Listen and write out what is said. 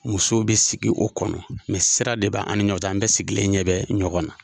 Musow be sigi o kɔnɔ sira de bɛ an ni ɲɔgɔn cɛ an bɛ sigilen ɲɛ bɛ ɲɔgɔn na.